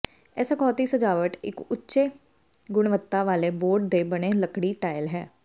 ਇਸ ਅਖੌਤੀ ਸਜਾਵਟ ਇੱਕ ਉੱਚ ਗੁਣਵੱਤਾ ਵਾਲੇ ਬੋਰਡ ਦੇ ਬਣੇ ਲੱਕੜੀ ਟਾਇਲ ਹੈ